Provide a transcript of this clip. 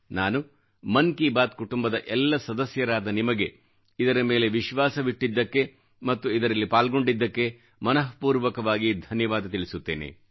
ನಾನು ಮನ್ ಕಿ ಬಾತ್ ಕುಟುಂಬದ ಎಲ್ಲ ಸದಸ್ಯರಾದ ನಿಮಗೆ ಇದರ ಮೇಲೆ ವಿಶ್ವಾಸವಿಟ್ಟಿದ್ದಕ್ಕೆ ಮತ್ತು ಇದರಲ್ಲಿ ಪಾಲ್ಗೊಂಡಿದ್ದಕ್ಕೆ ಮನಃ ಪೂರ್ವಕವಾಗಿ ಧನ್ಯವಾದ ತಿಳಿಸುತ್ತೇನೆ